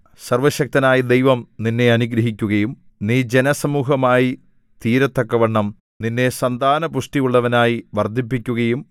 സർവ്വശക്തനായ ദൈവം നിന്നെ അനുഗ്രഹിക്കുകയും നീ ജനസമൂഹമായി തീരത്തക്കവണ്ണം നിന്നെ സന്താനപുഷ്ടിയുള്ളവനായി വർദ്ധിപ്പിക്കുകയും